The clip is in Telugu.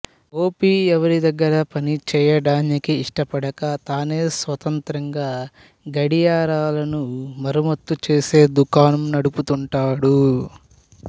గోపి ఎవరి దగ్గర పనిచేయడానికి ఇష్టపడక తానే స్వంతంగా గడియారాలను మరమ్మత్తు చేసే దుకాణం నడుపుతుంటాడు